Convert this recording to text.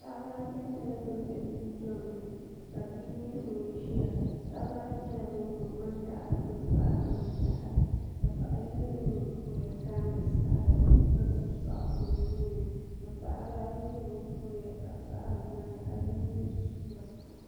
paɣaba ata nyɛla bin bɛ dundoŋni ka bia nyɛ ŋun ʒiya paɣaba ayi nyɛla bin kuri ŋmani daɣari gbuni paɣari ŋmani daɣari ka paɣa yino nyɛ ŋun kuriya kaandi saɣari ka gbubi soɣu o nuuni ka paɣaba nyɛ bin kuriya ka paɣari ŋmana ka yino mii suura